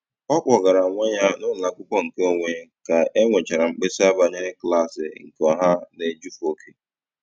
Ọ kpọgara nwa ya n'ụlọakwụkwọ nke onwe ka e nwechara mkpesa banyere klaasị nke ọha na-ejufe oke.